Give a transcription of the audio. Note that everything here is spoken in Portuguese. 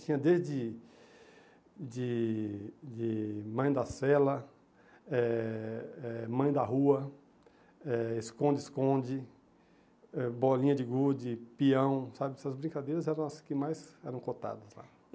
Tinha desde de de Mãe da Sela, eh eh Mãe da Rua, eh Esconde-Esconde, eh Bolinha de Gude, Pião, sabe, essas brincadeiras eram as que mais eram cotadas lá.